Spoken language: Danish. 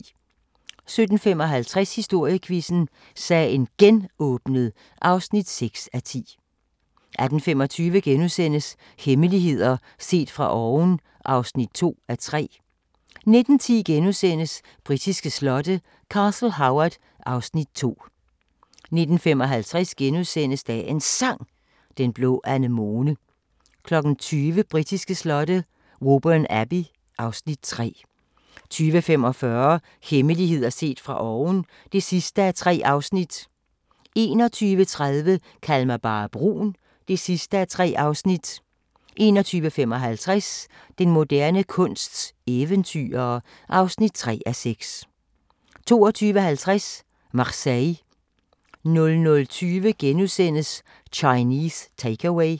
17:55: Historiequizzen: Sagen Genåbnet (6:10) 18:25: Hemmeligheder set fra oven (2:3)* 19:10: Britiske slotte: Castle Howard (Afs. 2)* 19:55: Dagens Sang: Den blå anemone * 20:00: Britiske slotte: Woburn Abbey (Afs. 3) 20:45: Hemmeligheder set fra oven (3:3) 21:30: Kald mig bare brun (3:3) 21:55: Den moderne kunsts eventyrere (3:6) 22:50: Marseille 00:20: Chinese Take-Away *